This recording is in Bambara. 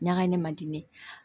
Ɲagami man di ne ye